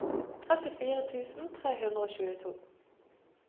trettifire tusen tre hundre og tjueto